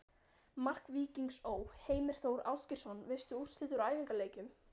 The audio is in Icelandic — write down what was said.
Mark Víkings Ó.: Heimir Þór Ásgeirsson Veistu úrslit úr æfingaleikjum?